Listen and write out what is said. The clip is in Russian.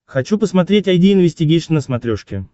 хочу посмотреть айди инвестигейшн на смотрешке